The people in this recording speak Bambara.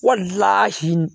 Wali